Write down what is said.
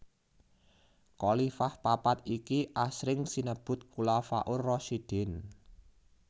Khalifah papat iki asring sinebut Khulafaur Rasyidin